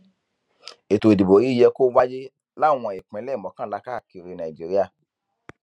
ètò ìdìbò yìí yẹ kó wáyé láwọn ìpínlẹ mọkànlá káàkiri nàìjíríà